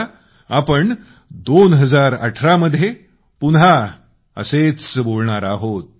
आता आपण 2018 मध्ये पुन्हा असेच बोलणार आहे